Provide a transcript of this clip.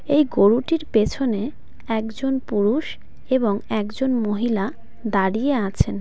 এই গরুটির পেছনে একজন পুরুষ এবং একজন মহিলা দাঁড়িয়ে আছেন.